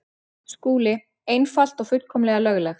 SKÚLI: Einfalt og fullkomlega löglegt.